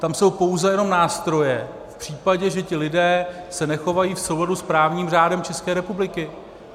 Tam jsou pouze jenom nástroje v případě, že ti lidé se nechovají v souladu s právním řádem České republiky.